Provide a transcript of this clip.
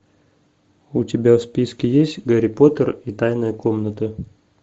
у тебя в списке есть гарри поттер и тайная комната